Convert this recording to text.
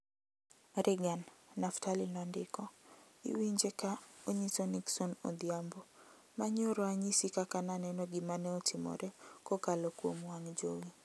Reagan, Naftali nondiko, iwinje ka onyiso Nixon odhiambo ma nyoro anyisi kaka naneno gima ne otimore kokalo kuom wang' jowi .